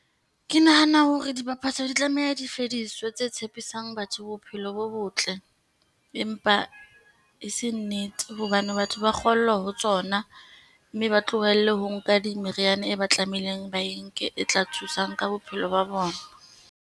Ke nahana hore dibapatswa di tlameha di fediswa, tse tshepisang batho bophelo bo botle, empa e se nnete. Hobane batho ba kgollwa ho tsona, mme ba tlohelle ho nka di meriana e ba tlameileng ba e nke e tla thusang ka bophelo ba bona.